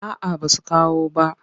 A a basu kawo bah.